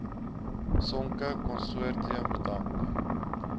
sonke konsortium bedank